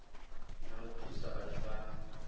na u thusa vhathu vha